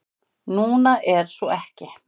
Núna er svo ekki.